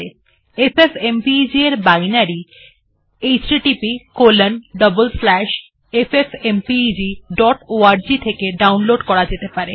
FFmpeg এর binary httpffmpegorg থেকে ডাউনলোডের করা যেতে পারে